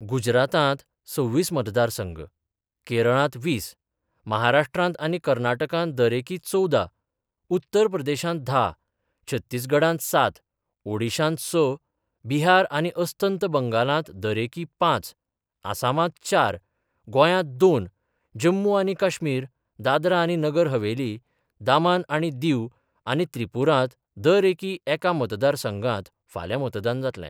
गुजरातांत सव्वीस मतदार संघ, केरळांत वीस, महाराष्ट्र आनी कर्नाटकांत दरएकी चवदा, उत्तर प्रदेशांत धा, छत्तीसगडांत सात, ओडीशांत स, बिहार आनी अस्तंत बंगालांत दरएकी पांच, आसामांत चार, गोंयात दोन, जम्मू आनी काश्मीर, दादरा आनी नगर हवेली, दामांन आनी दिव आनी त्रिपुरांत दरएकी एका मतदार संघात फाल्यां मतदान जातलें.